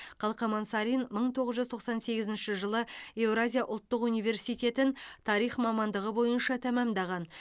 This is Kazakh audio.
қалқаман сарин мың тоғыз жүз тоқсан сегізінші жылы евразия ұлттық университетін тарих мамандығы бойынша тәмәмдаған